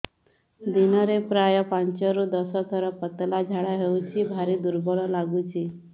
ଦିନରେ ପ୍ରାୟ ପାଞ୍ଚରୁ ଦଶ ଥର ପତଳା ଝାଡା ହଉଚି ଭାରି ଦୁର୍ବଳ ଲାଗୁଚି